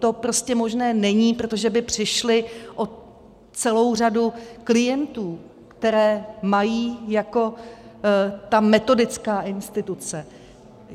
To prostě možné není, protože by přišli o celou řadu klientů, které mají jako ta metodická instituce.